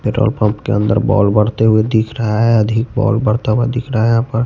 petrol pump के अंदर ball बढ़ते हुए दिख रहा है अधिक बॉल बढ़ता हुआ दिख रहा है यहां पर--